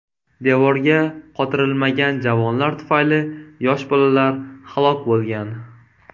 Devorga qotirilmagan javonlar tufayli yosh bolalar halok bo‘lgan.